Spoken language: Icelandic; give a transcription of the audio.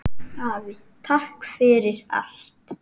Afi, takk fyrir allt!